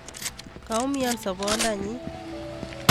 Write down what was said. Kaumian sobondanyin